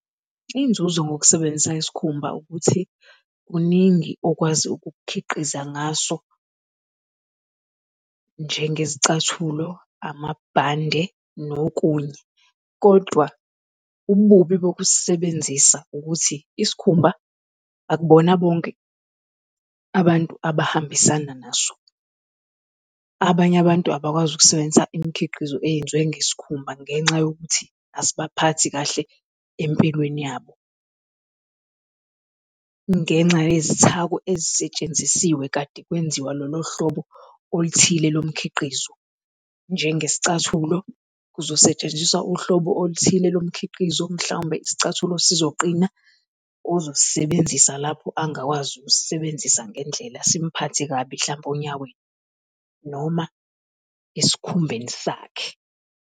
Iy'nzuzo ngokusebenzisa isikhumba ukuthi, kuningi okwazi ukukhiqiza ngaso njengezicathulo, amabhande nokunye. Kodwa ububi bokusebenzisa ukuthi, isikhumba akubona bonke abantu abahambisana naso. Abanye abantu abakwazi ukusebenza imikhiqizo eyenziwe ngesikhumba ngenxa yokuthi asibaphathi kahle empilweni yabo, ngenxa yezithako ezisetshenzisiwe kade kwenziwa lolo hlobo oluthile lomkhiqizo, njengesicathulo kuzosetshenziswa uhlobo oluthile lomkhiqizo mhlawumbe isicathulo sizoqina ozosisebenzisa lapho angakwazi ukusisebenzisa ngendlela simphathe kabi hlawumpe onyaweni noma esikhumbeni sakhe.